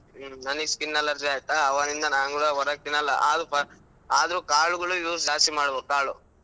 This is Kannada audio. ನನಿಗ್ skin allergy ಆಯ್ತಾ ಆವಾಗಿಂದ ನಾನ್ ಕೂಡಾ ಹೊರಗ್ ತಿನ್ನಲ್ಲ ಆದ್ರೂ ಪಾ ಆದ್ರೂ ಕಾಳುಗಳು use ಜಾಸ್ತಿ ಮಾಡ್ಬೇಕು ಕಾಳು.